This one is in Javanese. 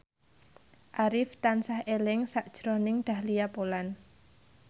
Arif tansah eling sakjroning Dahlia Poland